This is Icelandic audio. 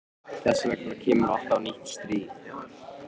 Þess vegna kemur alltaf nýtt stríð.